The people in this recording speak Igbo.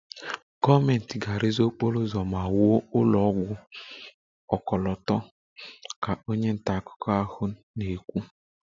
"Gọọmentị ga-arụzi okporo ụzọ ma wuo ụlọ ọgwụ ọkọlọtọ"" ka onye nta akụkọ ahụ na-ekwu"